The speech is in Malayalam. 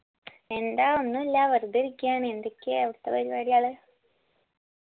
എന്താ ഒന്നുല്ല വെറുതെ ഇരിക്ക്യാണ് എന്തൊക്കെയാ അവിടുത്തെ പരിപാടികള്